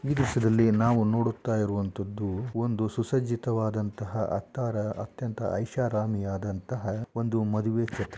ಈ ದೃಶ್ಯದಲ್ಲಿ ನಾವು ನೋಡುತ್ತಾ ಇರುವಂಥದ್ದು ಒಂದು ಸುಸಜ್ಜಿತವಾದಂತಹ ಅತ್ತಾರ ಅತ್ಯಂತ ಐಷಾರಾಮಿಯಾದಂಥಹ ಒಂದು ಮದುವೆ ಛತ್ರ .